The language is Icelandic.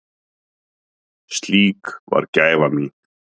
Slík var gæfa mín.